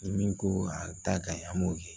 Ni min ko a ka ɲi an b'o kɛ